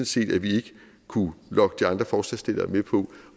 set at vi ikke kunne lokke de andre forslagsstillere med på